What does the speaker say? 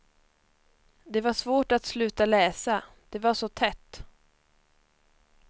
Det var svårt att sluta läsa, det var så tätt.